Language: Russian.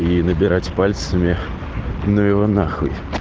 и набирать пальцами ну его нахуй